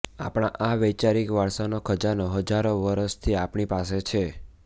આપણા આ વૈચારિક વારસાનો ખજાનો હજારો વર્ષથી આપણી પાસે છે